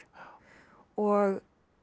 og